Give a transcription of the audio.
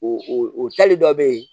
O o tali dɔ bɛ yen